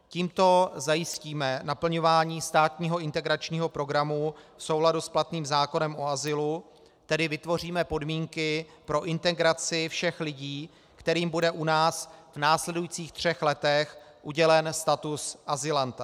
Tímto zajistíme naplňování státního integračního programu v souladu s platným zákonem o azylu, tedy vytvoříme podmínky pro integraci všech lidí, kterým bude u nás v následujících třech letech udělen status azylanta.